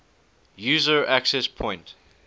user access point